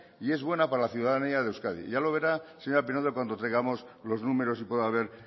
y es buena para la ciudadanía de euskadi ya lo verá señora pinedo cuando traigamos los números y pueda ver